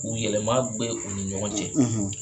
yɛlɛma u ni ɲɔgɔn cɛ.